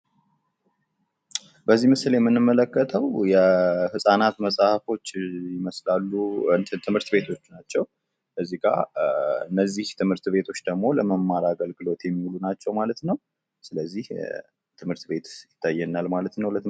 በዚህ ምስል ላይ የምንመለከተው የህፃናት መፅሀፎች ይመስላሉ ትምህርት ቤቶች ናቸው። ከዚጋ እነዚህ ትምህርት ቤቶች ደሞ ለመማር አገልግሎቶ የሚውሉ ናቸው ማለት ነው። ስለዚህ ትምህርት ቤት ይታየናል ማለት ነው።